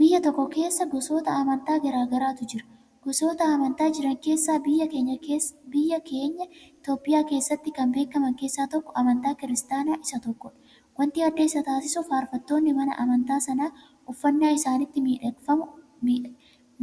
Biyya tokko keessa gosoota amantaa garaagaratu jira, gosoota amantaa jiran keessa biyya keenya Itoophiyaa keessatti kan beekaman keessa tokko amantiin kiristaanaa isa tokkodha, waanti adda isa taasisu farfattoonni mana amantaa sanaa uffannaa isaanittiin